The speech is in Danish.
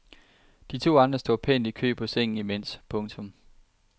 De to andre står pænt i kø på sengen imens. punktum